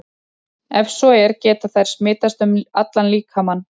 Ef svo er, geta þær smitast um allan líkamann?